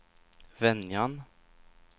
Venjan